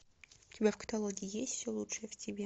у тебя в каталоге есть все лучшее в тебе